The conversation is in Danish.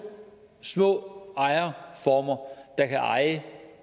små ejerformer der kan eje